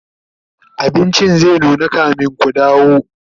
abincin zai nuna kamin Ku dawo